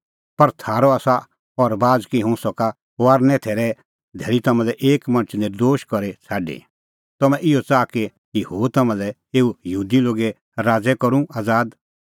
पर थारअ आसा अह रबाज़ कि हुंह सका फसहे थैरे धैल़ी तम्हां लै एकी मणछा नर्दोश करी छ़ाडी तम्हैं इहअ च़ाहा कि हुंह तम्हां लै एऊ यहूदी लोगे राज़ै करूं आज़ाद